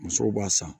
Musow b'a san